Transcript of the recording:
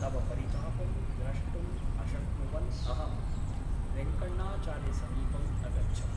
तव परितापं द्रष्टुम् अशक्नुवन् अहं वेङ्कण्णाचार्यसमीपम् अगच्छम् ।